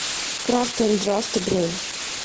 крафт энд драфт бронь